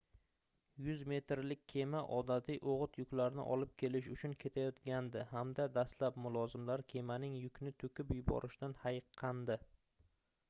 100 metrlik kema odatiy oʻgʻit yuklarni olib kelish uchun ketayotgandi hamda dastlab mulozimlar kemaning yukni toʻkib yuborishidan hayiqqandi